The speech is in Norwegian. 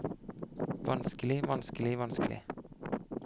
vanskelig vanskelig vanskelig